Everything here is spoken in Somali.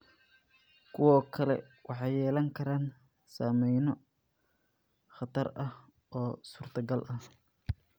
Kuwo kale waxay yeelan karaan saameyno khatar ah oo suurtagal ah.